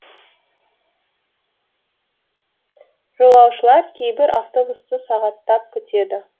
жолаушылар кейбір автобусты сағаттап күтеді